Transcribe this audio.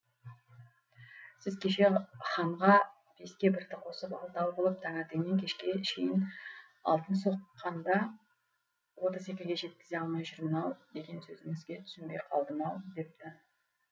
сіз кеше ханға беске бірді қосып алтау қылып таңертеңнен кешке шейін алтын соққанда отыз екіге жеткізе алмай жүрмін ау деген сөзіңізге түсінбей қалдым ау депті